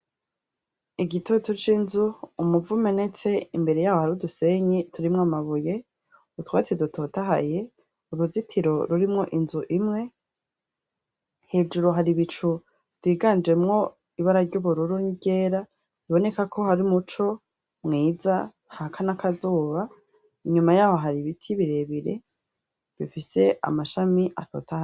Igitutu c'inzu, umuvo umenetse imbere yaho hari udusenyi turimwo amabuye , utwatsi dutotahaye, uruzitiro rurimwo inzu imwe, hejuru hari ibicu vyiganjemwo ibara ry'uburururu ni ryera, bibonekako hari umuco mwiza haka n'akazuba , inyuma yaho hari ibiti birebire bifise amashami atotahaye.